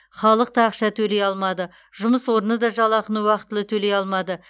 халық та ақша төлей алмады жұмыс орны да жалақыны уақытылы төлей алмады